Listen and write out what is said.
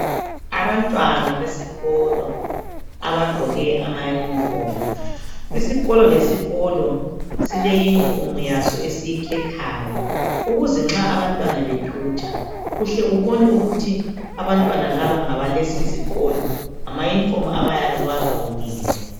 Abantwana besikolo abagqoke amayunifomu. Isikolo lesikolo sile yunifomu yaso esiyikhethayo ukuze nxa abantwana bethutsha uhle ubone ukuthi abantwana laba ngabalesi isikolo ngamayunifomu abayabe bewagqokile.